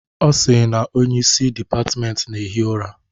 Ọ sị na onye isi dịpatmenti na-ehi ụra.